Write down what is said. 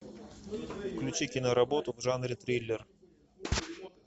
включи киноработу в жанре триллер